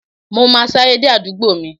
Mo ma sáré dé àdúgbò mi.